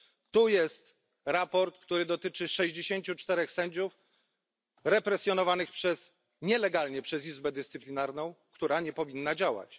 Tu jest raport, który dotyczy 64 sędziów represjonowanych nielegalnie przez Izbę Dyscyplinarną, która nie powinna działać.